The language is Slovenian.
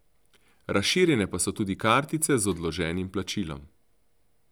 Razširjene pa so tudi kartice z odloženim plačilom.